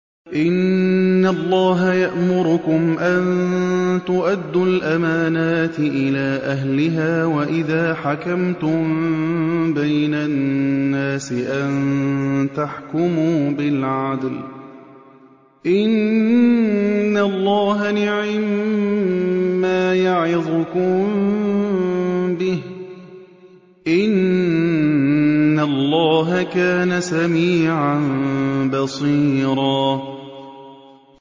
۞ إِنَّ اللَّهَ يَأْمُرُكُمْ أَن تُؤَدُّوا الْأَمَانَاتِ إِلَىٰ أَهْلِهَا وَإِذَا حَكَمْتُم بَيْنَ النَّاسِ أَن تَحْكُمُوا بِالْعَدْلِ ۚ إِنَّ اللَّهَ نِعِمَّا يَعِظُكُم بِهِ ۗ إِنَّ اللَّهَ كَانَ سَمِيعًا بَصِيرًا